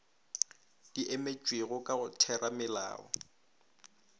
di emetšwego ka go theramelao